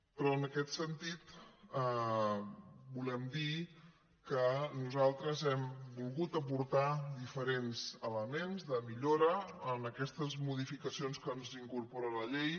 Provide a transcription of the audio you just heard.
però en aquest sentit volem dir que nosaltres hem volgut aportar diferents elements de millora en aquestes modificacions que ens incorpora la llei